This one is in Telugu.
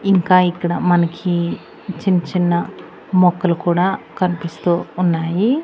ఇంకా ఇక్కడ మనకి చిన్న చిన్న మొక్కలు కూడా కనిపిస్తూ ఉన్నాయి.